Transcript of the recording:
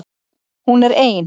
Hún er ein.